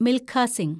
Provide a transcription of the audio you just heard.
Milkha Singh